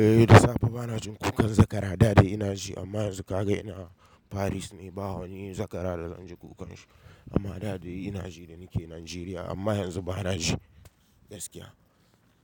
Eh da safe bana jin kukan zakara, da dai ina ji amma yanzu kaga ina Paris ne, ba wani zakara da zan ji kukan shi. Amma da dai ina ji da nake Najeriya, amma yanzu bana ji gaskiya.